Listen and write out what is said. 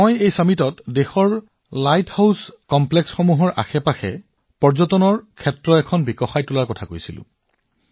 মই এই সন্মিলনত দেশৰ লাইট হাউচ কমপ্লেক্সৰ চাৰিওফালে পৰ্যটনৰ সুবিধা বিকাশৰ কথা কৈছিলো